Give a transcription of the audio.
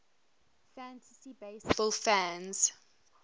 fantasy baseball fans